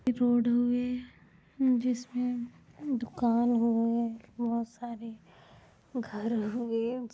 ये रोड होवे जिसमे दुकान होवे बोहोत सारी घर होवे --